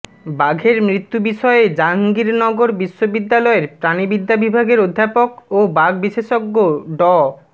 বাঘের মৃত্যু বিষয়ে জাহাঙ্গীরনগর বিশ্ববিদ্যালয়ের প্রাণিবিদ্যা বিভাগের অধ্যাপক ও বাঘ বিশেষজ্ঞ ড